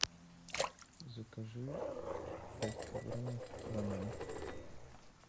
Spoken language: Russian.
закажи пять килограммов бананов